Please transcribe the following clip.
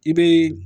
I bɛ